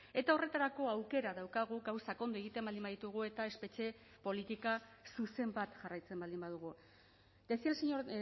eta horretarako aukera daukagu gauzak ondo egiten baldin baditugu eta espetxe politika zuzen bat jarraitzen baldin badugu decía el señor